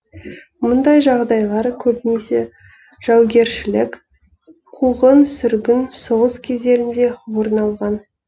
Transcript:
мұндай жағдайлар көбінесе жаугершілік қуғын сүргін соғыс кездерінде орын алған